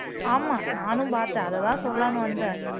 ஆமா நானும் பார்த்தேன் அததான் சொல்லலாம்ன்னு வந்தேன்